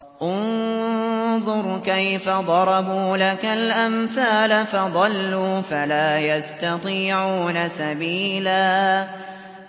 انظُرْ كَيْفَ ضَرَبُوا لَكَ الْأَمْثَالَ فَضَلُّوا فَلَا يَسْتَطِيعُونَ سَبِيلًا